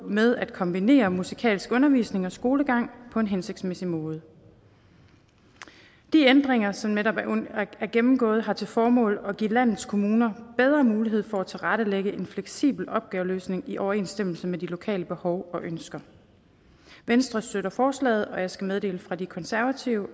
med at kombinere musikalsk undervisning og skolegang på en hensigtsmæssig måde de ændringer som netop er gennemgået har til formål at give landets kommuner bedre mulighed for at tilrettelægge en fleksibel opgaveløsning i overensstemmelse med de lokale behov og ønsker venstre støtter forslaget og jeg skal meddele fra de konservative